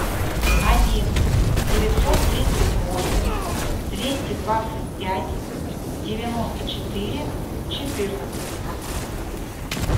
один девятьсот тридцать восемь двести двадцать пять девяносто четыре четырнадцать